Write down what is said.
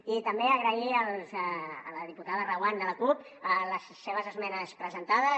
i també agrair a la diputada reguant de la cup les seves esmenes presentades